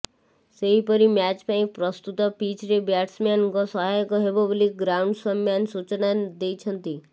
ସେହିପରି ମ୍ୟାଚ ପାଇଁ ପ୍ରସ୍ତୁତ ପିଚ୍ରେ ବ୍ୟାଟସମ୍ୟାନ୍ଙ୍କୁ ସହାୟକ ହେବ ବୋଲି ଗ୍ରାଉଣ୍ଡସମ୍ୟାନ୍ ସୂଚନା ଦେଇଛନ୍ତି